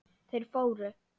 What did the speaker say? Þeir fóru.